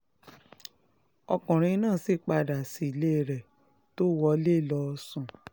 ọkùnrin náà sì padà sílé rẹ̀ tó wọlé lọọ sùn